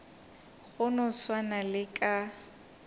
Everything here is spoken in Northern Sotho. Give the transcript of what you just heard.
go no swana le ka